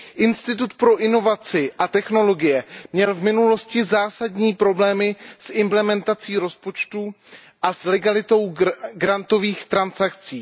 Institut pro inovaci a technologie měl v minulosti zásadní problémy s implementací rozpočtů a s legalitou grantových transakcí.